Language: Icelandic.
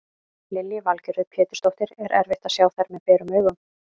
Lillý Valgerður Pétursdóttir: Er erfitt að sjá þær með berum augum?